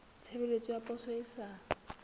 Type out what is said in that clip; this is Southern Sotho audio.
tshebeletso ya poso e sa